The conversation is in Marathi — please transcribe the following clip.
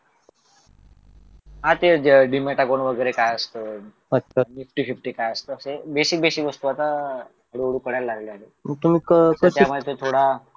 हा ते डिमॅट अकाउंट वगैरे काय असत निफ्टी फिफ्टी काय असतं असे बेसिक बेसिक वस्तू आता हळूहळू कळायला लागले आहेत तर त्याच्यामध्ये थोडा